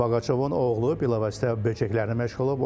Boqaçovun oğlu bilavasitə böcəklərlə məşğul olub.